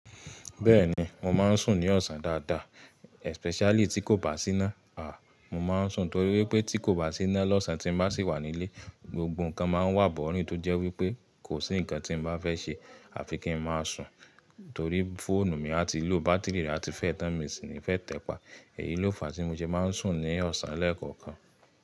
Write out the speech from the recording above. Bẹ́ẹ̀ni mo máa ń sùn ní ọ̀sán dáadáa especially tí kò bá sí iná. À! Mo máa ń sùn torí wípé tí kò bá sí iná lọ́sàn tí mo bá sì wà nílé, gbogbo nǹkan máa wà bọ́rín tó jẹ́ wípé kò sí nǹkan tí mo bá fẹ́ ṣe àfi kí ń máa sùn. Torí fóònù mi a ti lò báátìrì rẹ̀ a ti fẹ́ tán mi sì ní fẹ́ tẹpà. Èyí ló fà á tí mo sẹ máa ń sùn ní ọ̀sán lẹ́ẹ̀kọ̀kan.